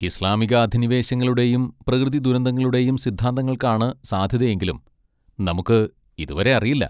ഇസ്ലാമിക അധിനിവേശങ്ങളുടെയും പ്രകൃതി ദുരന്തങ്ങളുടെയും സിദ്ധാന്തങ്ങൾക്കാണ് സാധ്യതയെങ്കിലും നമുക്ക് ഇതുവരെ അറിയില്ല.